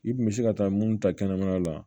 I kun bɛ se ka taa mun ta kɛnɛmana la